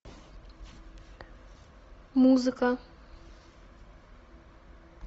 музыка